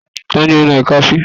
Ta ni ò ń nan ìka sí?